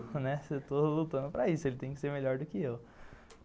Né, eu estou lutando para isso, ele tem que ser melhor do que eu.